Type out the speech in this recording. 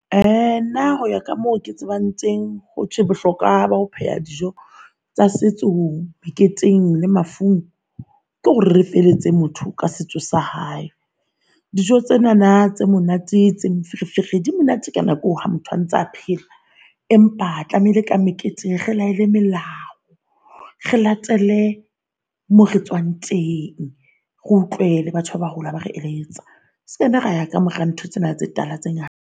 Nna hoya ka moo ke tsebang teng. Hothwe bohlokwa ba ho pheha dijo tsa setso meketeng le mafung, ke hore re feletse motho ka setso sa hae. Dijo tsenana tse monate tse monate di monate ka nako eo haa motho a ntsa phela. Empa tlamehile ka meketeng re laele melao re latele more tswang teng. Re utlwe le batho ba baholo ha ba re eletsa. Sekanna ra ya ka mora ntho tsena tse tala tse ngata.